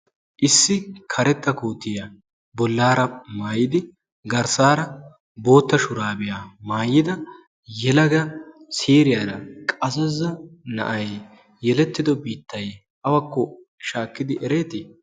issi karetta kootiyaa bollaara maayidi garssaara bootta shuraabiyaa maayida yelaga siriyaara qasaza na7ai yelettido biittai awakko shaakkidi ereetii?